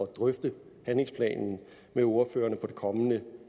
drøfte handlingsplanen med ordførerne på det kommende